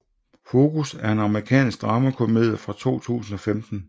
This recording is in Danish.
Focus er en amerikansk dramakomedie fra 2015